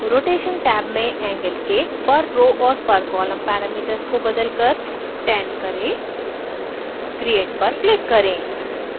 rotation tab में angle के per row और per column parameters को बदलकर 10 करें create पर click करें